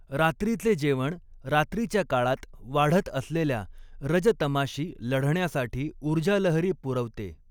रात्रीचे जेवण रात्रीच्या काळात वाढत असलेल्या रज तमाशी लढण्यासाठी ऊर्जालहरी पुरवते.